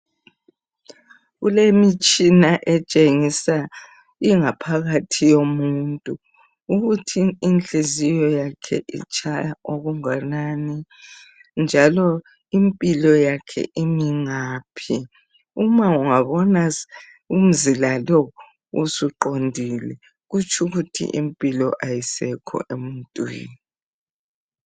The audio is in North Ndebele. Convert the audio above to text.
Kulemitshina etshengisa ingaphakathi yomuntu. Ukuthi inhliziyo yakhe itshaya okunganani, njalo impilo yakhe imi ngaphi. Uma ungabona umzila lowu, usuqondile. Kutsho ukuthi impilo, kayisekho emuntwini.